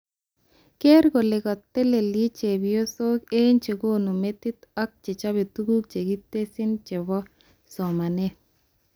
Ker kole katelechke chepyosok eng chekonu metit ak chechobe tuguk chekitesyi chobo somanet